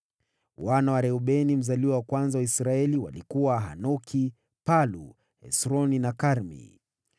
Wana wa Reubeni mzaliwa wa kwanza wa Israeli walikuwa: Hanoki, Palu, Hesroni na Karmi.